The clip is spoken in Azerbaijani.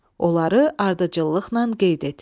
Onları ardıcıllıqla qeyd et.